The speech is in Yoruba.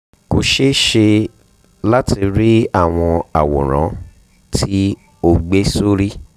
kò ṣeé ṣe láti rí àwọn àwòrán tí o gbé sórí